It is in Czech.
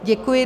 Děkuji.